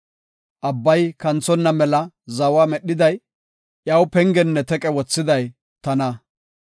Abbay kanthonna mela zawa medhiday, iyaw pengenne teqe wothiday tana.